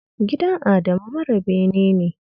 Gidan Adamu mara bene ne